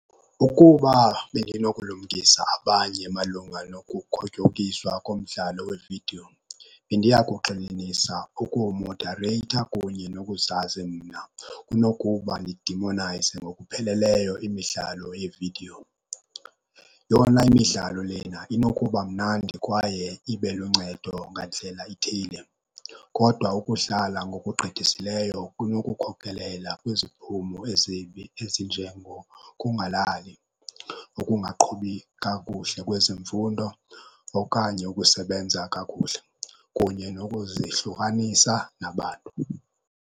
Ukuba bendinokulumkisa abanye malunga nokukhotyokiswa komdlalo wevidiyo, bendiya kugxininisa ukuwumodareyitha kunye nokuzazi mna kunokuba ndidemonayize ngokupheleleyo imidlalo yeevidiyo. Yona imidlalo lena inokuba mnandi kwaye ibe luncedo ngandlela ithile kodwa ukudlala ngokugqithisileyo kunokukhokelela kwiziphumo ezibi, ezinjengokungalali, ukungaqhubi kakuhle kwezemfundo okanye ukusebenza kakuhle, kunye nokuzihlukanisa nabantu.